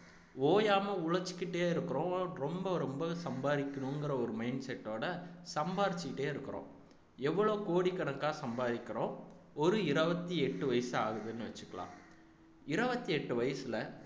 ஓயாம உழைச்சுக்கிட்டே இருக்கிறோம் ரொம்ப ரொம்ப சம்பாதிக்கணுங்கிற ஒரு mindset ஓட சம்பாரிச்சுக்கிட்டே இருக்கிறோம் எவ்வளவு கோடிக்கணக்கா சம்பாதிக்கிறோம் ஒரு இருபத்தி எட்டு வயசு ஆகுதுன்னு வச்சுக்கலாம் இருபத்தி எட்டு வயசுல